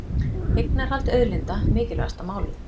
Eignarhald auðlinda mikilvægasta málið